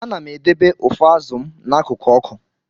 Ana m edobe ụfọ azụ m n'akụkụ ọkụ.